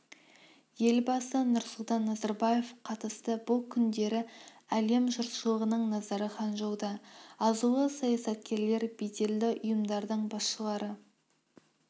елбасы нұрсұлтан назарбаев қатысты бұл күндері әлем жұртшылығының назары ханчжоуда азулы саясаткерлер беделді ұйымдардың басшылары